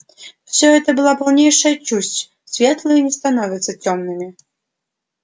все это была полнейшая чушь светлые не становятся тёмными